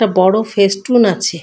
একটা বড়ো ফেস টুন আছে।